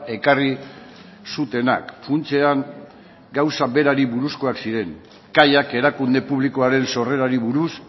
ekarri zutenak funtsean gauza berari buruzkoak ziren kaiak erakunde publikoaren sorrerari buruz